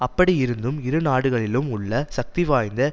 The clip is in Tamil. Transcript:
அப்படி இருந்தும் இரு நாடுகளிலும் உள்ள சக்திவாய்ந்த